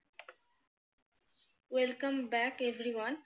well come back everyone